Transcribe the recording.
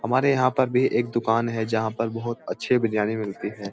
हमारे यहाँ पर भी एक दुकान है जहाँ पर बहुत अच्छे बिरयानी मिलती है।